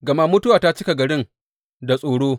Gama mutuwa ta cika garin da tsoro.